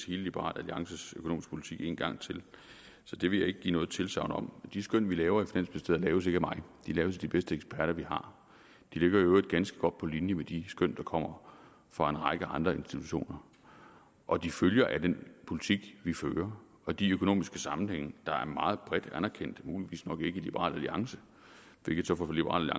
hele liberal alliances økonomiske politik en gang til så det vil jeg ikke give noget tilsagn om de skøn vi laver i finansministeriet laves ikke af mig de laves af de bedste eksperter vi har de ligger i øvrigt ganske godt på linje med de skøn der kommer fra en række andre institutioner og de følger af den politik vi fører og de økonomiske sammenhænge der er meget bredt anerkendte muligvis nok ikke i liberal alliance hvilket så får liberal